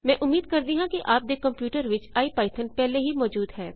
ਮੈਂ ਉਮੀਦ ਕਰਦੀ ਹਾਂ ਕਿ ਆਪ ਦੇ ਕੰਪਿਊਟਰ ਵਿੱਚ ਇਪੀਥੌਨ ਪਹਿਲੇ ਹੀ ਮੌਜੂਦ ਹੈ